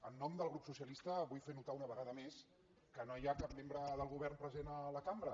en nom del grup socialista vull fer no·tar una vegada més que no hi ha cap membre del go·vern present a la cambra